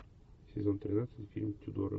сезон тринадцать фильм тюдоры